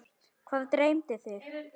Hvað dreymdi þig?